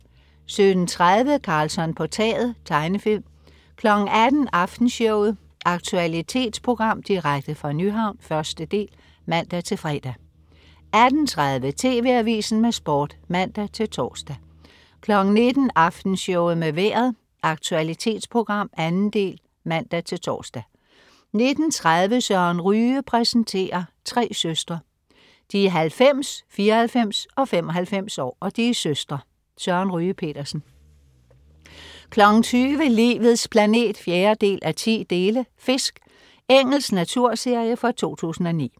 17.30 Karlsson på taget. Tegnefilm 18.00 Aftenshowet . Aktualitetsprogram direkte fra Nyhavn, 1. del (man-fre) 18.30 TV AVISEN med Sport (man-tors) 19.00 Aftenshowet med Vejret. Aktualitetsprogram, 2. del (man-tors) 19.30 Søren Ryge præsenterer. Tre søstre. De er 90, 94 og 95 år, og de er søstre. Søren Ryge Petersen 20.00 Livets planet 4:10. "Fisk". Engelsk naturserie fra 2009